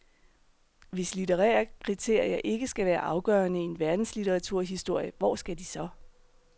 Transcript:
Hvis litterære kriterier ikke skal være afgørende i en verdenslitteraturhistorie, hvor skal de så.